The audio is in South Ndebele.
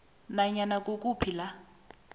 nanyana kukuphi la